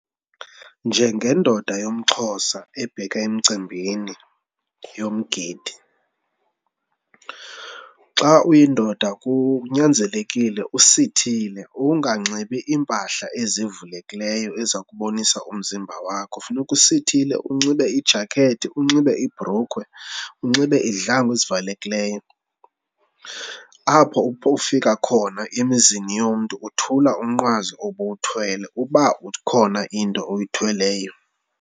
Njengendoda yomXhosa ebheka emcimbini yomgidi, xa uyindoda kunyanzelekile usithile unganxibi iimpahla ezivulekileyo eza kubonisa umzimba wakho. Funeka usithile, unxibe ijakethi, unxibe ibhrukhwe, unxibe izihlangu ezivalekileyo. Apho ufika khona emizini womntu uthula umnqwazi obuwuthwele uba ukhona into oyithweleyo.